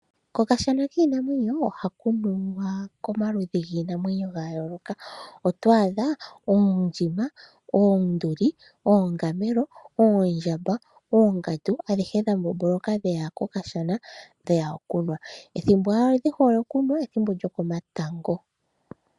Kokashana kiinamwenyo ohaku nuwa komaludhi giinamwenyo ya yooloka oto adha oondjima, oonduli ,oongamelo, oondjamba ,oongandu adhihe dha mboloka dheya okunwa. Ethimbo dhihole okunwa ethimbo lyokomatango.